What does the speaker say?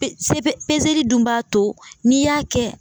Pe se peseli dun b'a to, n'i y'a kɛ.